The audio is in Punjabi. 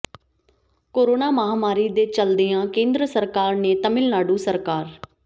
ਕੋਰੋਨਾ ਮਹਾਂਮਾਰੀ ਦੇ ਚਲਦਿਆਂ ਕੇਂਦਰ ਸਰਕਾਰ ਨੇ ਤਾਮਿਲਨਾਡੂ ਸਰਕਾਰ